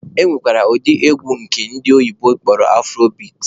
E nwere ụdị egwu nke ndị oyibo kpọrọ 'afrobeat'